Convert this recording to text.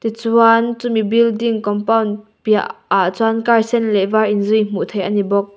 tichuan chu mi building compound piah ah chuan car sen leh var in zui hmuh theih ani bawk.